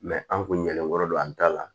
an kun ɲele don an ta la